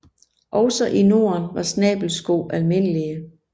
Også i Norden var snabelsko almindelige